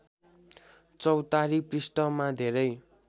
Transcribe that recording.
चौतारी पृष्ठमा धेरै